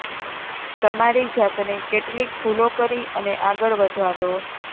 તમારી જાતને કેટલીક ભૂલો કરી અને આગળ વધવા દો